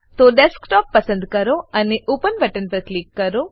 તો ડેસ્કટોપ પસંદ કરો અને ઓપન બટન પર ક્લિક કરો